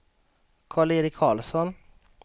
Karl-Erik Carlsson